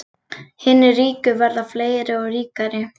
Hinir ríku verða fleiri og ríkari